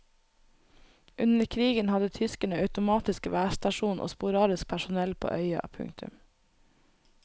Under krigen hadde tyskerne automatisk værstasjon og sporadisk personell på øya. punktum